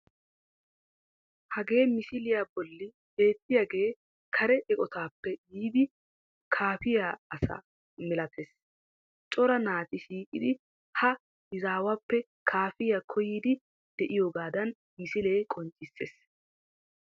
Hagee misiliya bolli beettiyagee kare eqotaappe yiidi kaafiya asa milatees. Cora naati shiiqidi ha izaawuppe kaafiya koyyiiddi de'iyogaadan misilee qonccissees.